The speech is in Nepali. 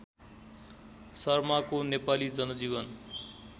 शर्माको नेपाली जनजीवन